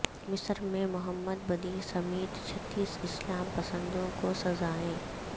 مصر میں Mohamed Badie سمیت چھتیس اسلام پسندوں کو سزائیں